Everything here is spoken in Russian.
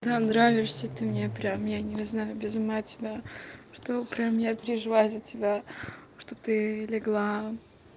да нравишься ты мне прям я не знаю без ума от тебя что прям я переживаю за тебя чтоб ты легла